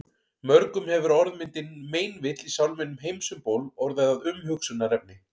Mörgum hefur orðmyndin meinvill í sálminum Heims um ból orðið að umhugsunarefni.